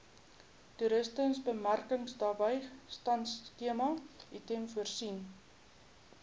toerismebemarkingbystandskema itmas voorsien